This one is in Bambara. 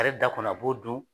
A yɛrɛ ta kɔni a b'o dun